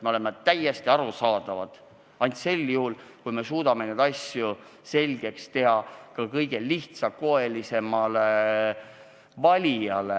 Me oleme täiesti arusaadavad ainult sel juhul, kui me suudame neid asju selgeks teha ka kõige lihtsakoelisemale valijale.